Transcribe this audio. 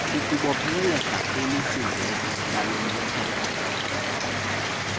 ukubopheleleka kwimisindleko yalomthetho